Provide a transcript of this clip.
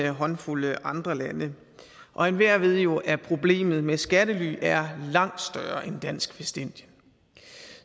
håndfuld andre lande og enhver ved jo at problemet med skattely er langt større end dansk vestindien